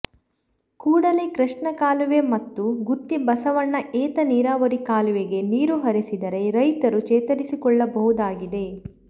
ಕೂಡಲೇ ಕೃಷ್ಣಾ ಕಾಲುವೆ ಮತ್ತು ಗುತ್ತಿ ಬಸವಣ್ಣ ಏತ ನೀರಾವರಿ ಕಾಲುವೆಗೆ ನೀರು ಹರಿಸಿದರೆ ರೈತರು ಚೇತರಿಸಿಕೊಳ್ಳಬಹುದಾಗಿದೆ